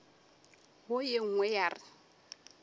wo ye nngwe ya re